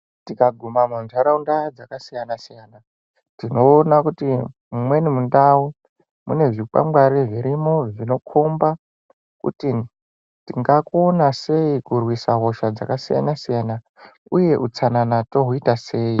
Tikaguma muntaraunda dzakasiyana-siyana. Tinoona kuti mumweni mundau mune zvikwangwari zvirimo zvinokomba kuti tinga kona sei kurwisa hosha dzakasiyana-siyana, uye utsanana tohuita sei.